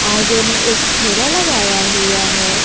आगे में एक ठेला लगाया हुआ है।